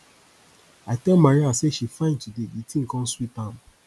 i tell maria say she fine today the thing come sweet am